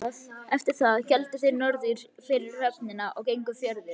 Eftir það héldu þeir norður fyrir höfnina og gengu fjörur.